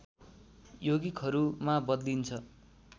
यौगिकहरूमा बदलिन्छ